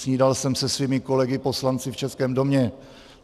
Snídal jsem se svými kolegy poslanci v Českém domě.